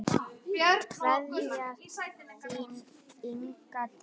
Kveðja, þín, Inga Dís.